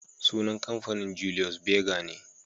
Sunan kamfanin, Julius Berger ne